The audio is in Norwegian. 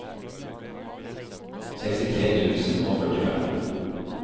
sekstitre tusen og førtifem